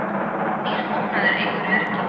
Nýr búnaður eykur öryggi